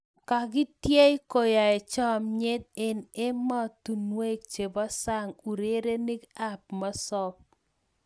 Kakieteiy koai chomnyet eng emostunwek chepo sang urerenik ap mosop